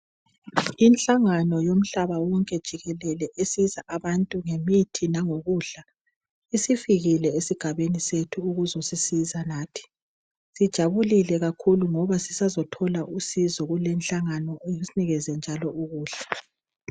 Inhlangano yomhlaba wonke jikelele usiza abantu ngemithi langokudla isifikile esigabeni sethu ukuzosisiza nathi. Sijabulile kakhulu ngoba sisazothola usizo kulenhlangano isinikeze njalo ukudla.